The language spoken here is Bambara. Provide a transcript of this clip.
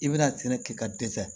I bɛna tɛnɛ kɛ ka dɛsɛ